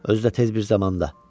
Özü də tez bir zamanda.